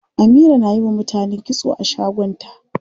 Amira na yiwa mutane kitso a shagon ta.